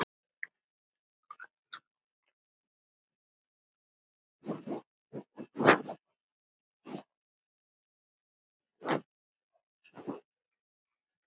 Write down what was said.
Annars gengur þetta ekki.